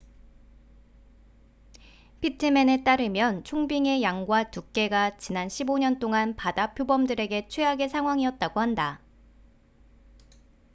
피트맨에 따르면 총빙의 양과 두께가 지난 15년 동안 바다표범들에게 최악의 상황이었다고 한다